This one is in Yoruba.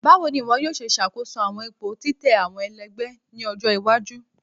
Bawo ni iwọ yoo ṣe ṣakoso awọn ipo titẹ awọn ẹlẹgbẹ ni ọjọ iwaju?